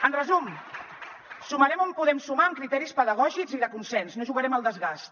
en resum sumarem on podem sumar amb criteris pedagògics i de consens no jugarem al desgast